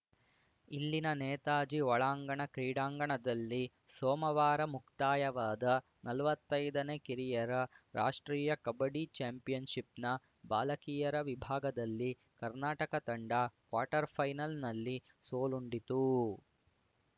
ಇಲ್ಲಿನ ನೇತಾಜಿ ಒಳಾಂಗಣ ಕ್ರೀಡಾಂಗಣದಲ್ಲಿ ಸೋಮವಾರ ಮುಕ್ತಾಯವಾದ ನಲ್ವತ್ತೈದನೇ ಕಿರಿಯರ ರಾಷ್ಟ್ರೀಯ ಕಬಡ್ಡಿ ಚಾಂಪಿಯನ್‌ಶಿಪ್‌ನ ಬಾಲಕಿಯರ ವಿಭಾಗದಲ್ಲಿ ಕರ್ನಾಟಕ ತಂಡ ಕ್ವಾರ್ಟರ್‌ಫೈನಲ್‌ನಲ್ಲಿ ಸೋಲುಂಡಿತು